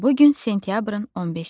Bu gün sentyabrın 15-idir.